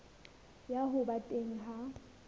ya ho ba teng ha